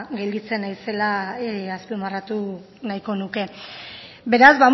gelditzen naizela azpimarratu nahiko nuke beraz